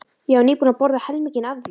Ég var nýbúin að borða helminginn af því.